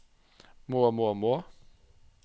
må må må